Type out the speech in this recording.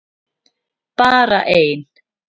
Bara ein!